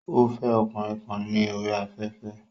Ó fẹ́ ọkùnrin kan ní orí afẹ́fẹ́